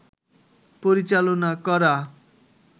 পরিচালনা করা